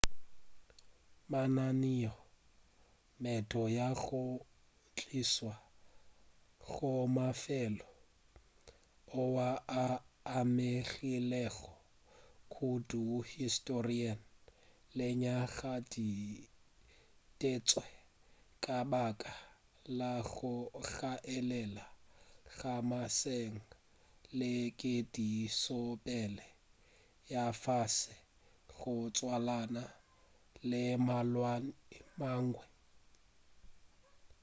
mananeo a meento ya go tlišwa go mafelo oa a amegilego kudu historing lenyaga di ditetšwe ka baka la go hlaelela ga mašeleng le ketišopele ya fase go tswalana le malwetši a mangwe